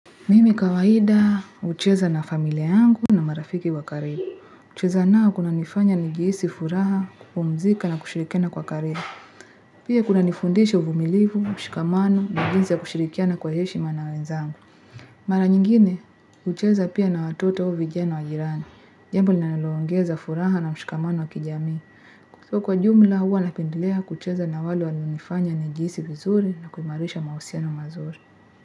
Mimi kawaida, hucheza na familia yangu na marafiki wa karibu. Kucheza nao kunanifanya nijihisi furaha, kupumzika na kushirikiana kwa karibu. Pia kunanifundisha uvumilivu, mshikamano, na jinsi ya kushirikiana kwa heshima na wenzangu. Mara nyingine, hucheza pia na watoto au vijana na wa jirani. Jambo linalo ongeza furaha na mshikamano wa kijamii. So, kwa jumla huwa napendelea kucheza na wale wananifanya nijihisi vizuri na kuimarisha mahusiano mazuri.